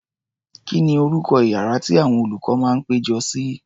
Kí ni orúkọ iyàrá tí àwọn olùkọ́ máa ń péjọ sí?